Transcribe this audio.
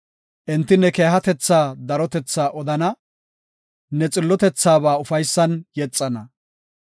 Enti ne keehatetha darotethaa odana; ne xillotethabaa ufaysan yexana.